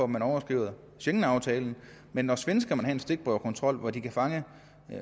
man overskrider schengenaftalen men når svenskerne må have en stikprøvekontrol hvor de kan fange